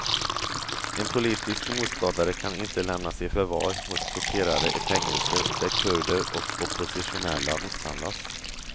En politisk motståndare kan inte lämnas i förvar hos torterare i fängelser där kurder och oppositionella misshandlas.